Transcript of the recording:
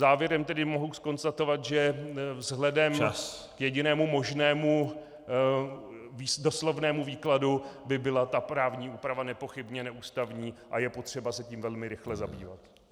Závěrem tedy mohu konstatovat , že vzhledem k jedinému možnému doslovnému výkladu by byla ta právní úprava nepochybně neústavní a je potřeba se tím velmi rychle zabývat.